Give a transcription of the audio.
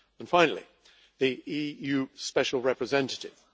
Finally, the EU Special Representative.